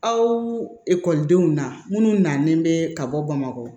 Aw ekɔlidenw na minnu nalen bɛ ka bɔ bamakɔ